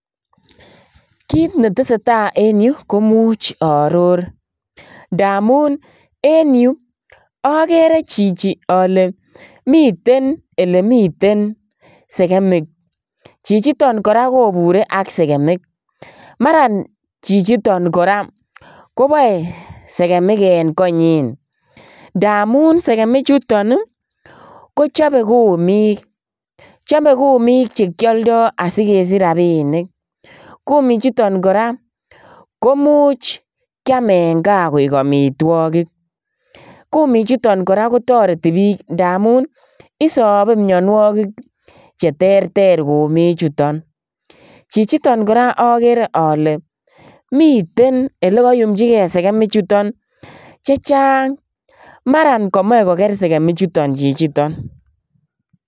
Kit netesee taa en yu koimuch oror ndamun en yu okere chichi ole miten elemiten sekemik, chichiton koraa kobure ak sekemik maran chichiton koraa koboe sekemik en konyin ndamun sekemichuton kochobe kumik chobe kumik chekioldo asikesich rabinik, kumichuton koraa koimuch kiam en kaa koik omitwogik, kumichuton koraa kotoreti bik ndamun isobee mionuokik cheterter kumichuton, chichiton koraa okere ole miten olekoyumchigee sekemichuton chechang maran komoche koker sekemichuton chichiton.